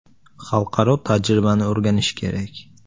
Xalqaro tajribani o‘rganish kerak.